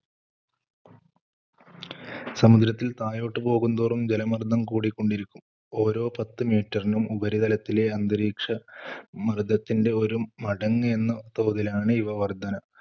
സമുദ്രത്തിൽ താഴോട്ട് പോകും തോറും ജലമർദ്ദം കൂടിക്കൊണ്ടിരിക്കും. ഓരോ പത്ത് meter ഇനും ഉപരിതലത്തിലെ അന്തരീക്ഷമർദ്ദത്തിന്‍റെ ഒരു മടങ്ങ് എന്ന തോതിലാണ് ഈ വർദ്ധന.